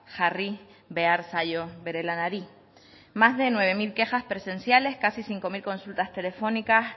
jarri behar zaio bere lanari más de nueve mil quejas presenciales casi cinco mil consultas telefónicas